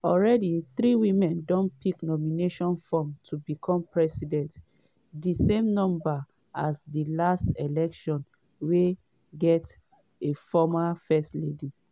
already three women don pick nomination forms to become president di same number as di last elections wey gat a former first lady.